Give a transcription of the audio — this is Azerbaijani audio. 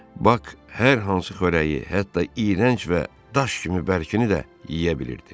Pak hər hansı xörəyi, hətta iyrənc və daş kimi bərkini də yeyə bilirdi.